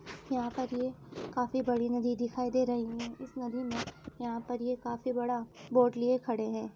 यहां पर ये काफी बड़ी नदी दिखाई दे रही है। इस नदी में यहां पर ये काफी बड़ा बोट लिए खड़े है।